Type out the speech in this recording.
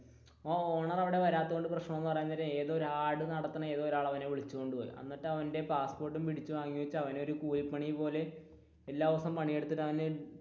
ആ ഓണർ അവിടെ വരാത്തതുകൊണ്ടു പ്രശ്നം എന്ന് പറയാൻ നേരം ആ ആട് നടത്തുന്ന ഏതോ ഒരാൾ അവനെ വിളിച്ചോണ്ട് പോയി എന്നിട്ട് അവന്റെ പാസ്പോര്ട്ട് പിടിച്ചു വാങ്ങി വെച്ച് അവൻ ഒരു കൂലി പണി പോലെ